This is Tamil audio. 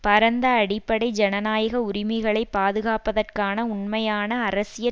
பரந்த அடிப்படை ஜனநாயக உரிமைகளை பாதுகாப்பதற்கான உண்மையான அரசியற்